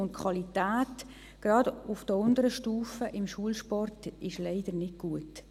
Die Qualität im Schulsport, gerade auf den unteren Stufen, ist leider nicht gut.